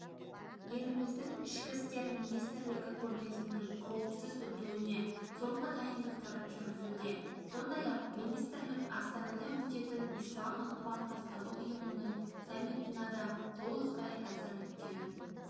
еліміздің ішкі істер министрлігі көрмесінің қауіпсіз өтуіне соңғы дайындықтарын жүргізуде сондай-ақ министрлік астанада өтетін ислам ынтымақтастығы ұйымының саммитына да толықтай әзірліктерін